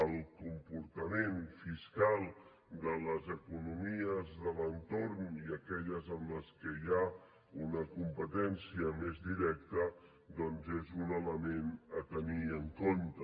el comportament fiscal de les economies de l’entorn i aquelles en què hi ha una competència més directa doncs és un element a tenir en compte